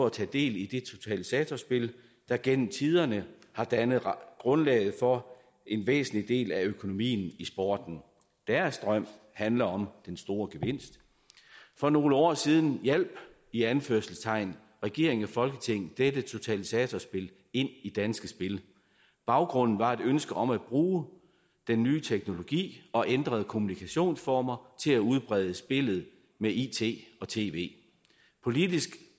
at tage del i det totalisatorspil der gennem tiderne har dannet grundlaget for en væsentlig del af økonomien i sporten deres drøm handler om den store gevinst for nogle år siden hjalp i anførselstegn regeringen og folketinget dette totalisatorspil ind i danske spil baggrunden var et ønske om at bruge den nye teknologi og ændrede kommunikationsformer til at udbrede spillet med it og tv politisk